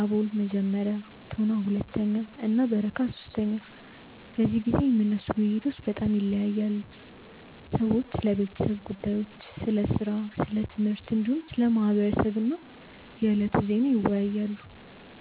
አቦል (መጀመሪያ)፣ ቶና (ሁለተኛ) እና በረካ (ሶስተኛ)። በዚህ ጊዜ የሚነሱ ውይይቶች በጣም ይለያያሉ። ሰዎች ስለ ቤተሰብ ጉዳዮች፣ ስለ ሥራ፣ ስለ ትምህርት፣ እንዲሁም ስለ ማህበረሰብ እና የዕለቱ ዜና ይወያያሉ።